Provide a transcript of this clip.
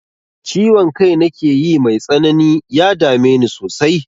Ciwon kai nakeyi mai tsanani, ya dame ni sosai.